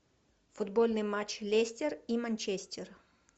футбольный матч лестер и манчестер